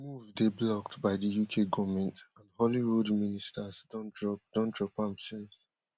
di move dey blocked by di uk goment and holyrood ministers don drop don drop am since